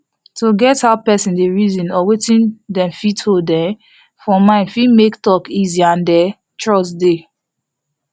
to get how persin dey reason or wetin dem hold um for mind fit make talk easy and um trust dey